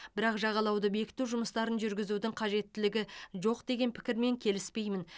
бірақ жағалауды бекіту жұмыстарын жүргізудің қажеттілігі жоқ деген пікірмен келіспеймін